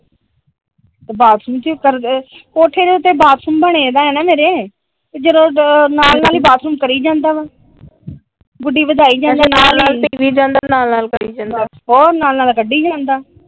ਤੇ ਬਾਥਰੂਮ ਚ ਈ ਕੋਠੇ ਤੇ ਉਤੇ ਬਾਥਰੂਮ ਬਣੇ ਹਣਾ ਮੇਰੇ ਨਾਲ ਨਾਲ ਬਾਥਰੂਮ ਕਰੀ ਜਾਂਦਾ ਗੁਡੀ ਵਧਾਈ ਜਾਂਦਾ। ਅੱਛਾ ਨਾਲ ਨਾਲ ਪੀ ਜਾਂਦਾ ਨਾਲ ਨਾਲ ਕਰੀ ਜਾਂਦਾ । ਹੋਰ ਨਾਲ ਨਾਲ ਕੱਢੀ ਜਾਂਦਾ ।